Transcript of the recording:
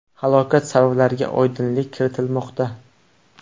Halokat sabablariga oydinlik kiritilmoqda.